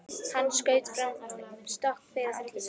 Og hann staulaðist áfram með sokkinn fyrir andlitinu.